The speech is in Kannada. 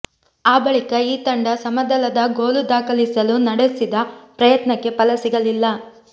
ಆ ಬಳಿಕ ಈ ತಂಡ ಸಮಬಲದ ಗೋಲು ದಾಖಲಿಸಲು ನಡೆಸಿದ ಪ್ರಯತ್ನಕ್ಕೆ ಫಲ ಸಿಗಲಿಲ್ಲ